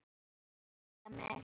Ég lét hann ekki beygja mig.